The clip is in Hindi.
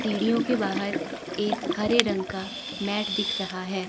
सीढ़ियों के बाहर एक हरे रंग का मैट दिख रहा है।